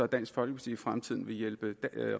dansk folkeparti i fremtiden vil hjælpe